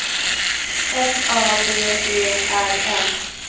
F A D E R N